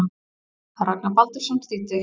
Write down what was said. Ragnar Baldursson þýddi.